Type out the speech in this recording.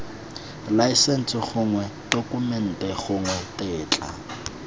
laesense gongwe tokumente gongwe tetla